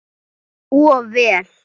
Of vel.